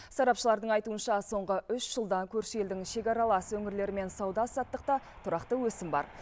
сарапшылардың айтуынша соңғы үш жылда көрші елдің шекаралас өңірлерімен сауда саттықта тұрақты өсім бар